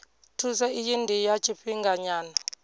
thuso iyi ndi ya tshifhinganyana